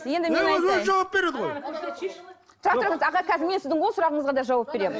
өзі жауап береді ғой тұра тұрыңыз аға қазір мен сіздің ол сұрағыңызға да жауап беремін